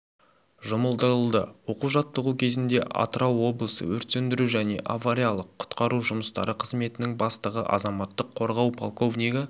жұмылдырылды оқу-жаттығу кезінде атырау облысы өрт сөндіру және авариялық-құтқару жұмыстары қызметінің бастығы азаматтық қорғау полковнигі